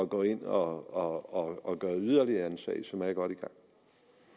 gå ind og gøre yderligere i en sag som er godt